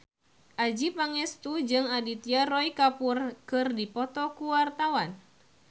Adjie Pangestu jeung Aditya Roy Kapoor keur dipoto ku wartawan